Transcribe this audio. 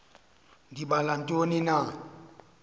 ndibala ntoni na